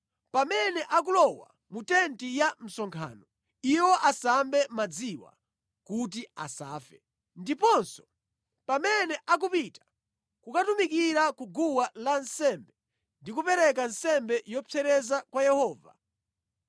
Pamene akulowa mu tenti ya msonkhano, iwo asambe madziwa kuti asafe. Ndiponso pamene akupita kukatumikira ku guwa lansembe ndi kupereka nsembe yopsereza kwa Yehova,